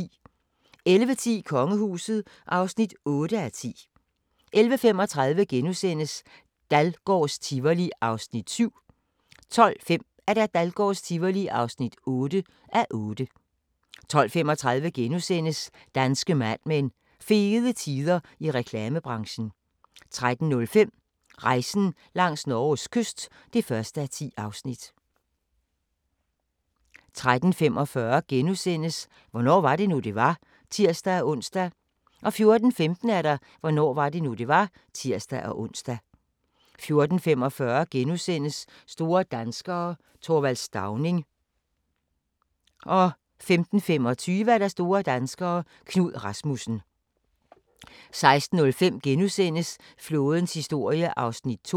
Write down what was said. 11:10: Kongehuset (8:10) 11:35: Dahlgårds Tivoli (7:8)* 12:05: Dahlgårds Tivoli (8:8) 12:35: Danske Mad Men: Fede tider i reklamebranchen * 13:05: Rejsen langs Norges kyst (1:10) 13:45: Hvornår var det nu, det var? *(tir-ons) 14:15: Hvornår var det nu, det var? (tir-ons) 14:45: Store danskere - Th. Stauning * 15:25: Store danskere - Knud Rasmussen 16:05: Flådens historie (2:7)*